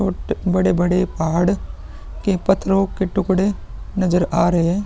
बहोत बड़े-बड़े पहाड़ के के टुकड़े नज़र आ रहे।